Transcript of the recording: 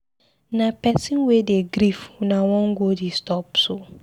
Na pesin wey dey grief una wan go disturb so?